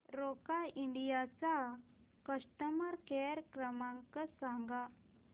Roca India चा customer care क्रमांक सांगा